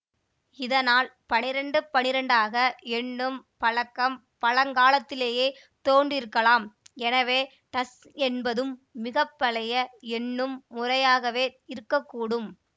இதனால் பன்னிரண்டு பன்னிரண்டாக எண்ணும் பழக்கம் பழங்காலத்திலேயே தோன்றியிருக்கலாம் எனவே டஸ் என்பதும் மிக பழைய எண்ணும் முறையாக இருக்க கூடும்